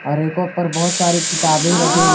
रैकों पर बहुत सारी किताबें रखे हुए हैं।